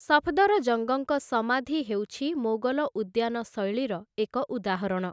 ସଫଦରଜଙ୍ଗଙ୍କ ସମାଧି ହେଉଛି ମୋଗଲ ଉଦ୍ୟାନ ଶୈଳୀର ଏକ ଉଦାହରଣ ।